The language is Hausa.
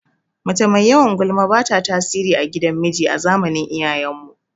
Mace mai yawan gulma bata tasiri a gidan miji a zamanin iyayen mu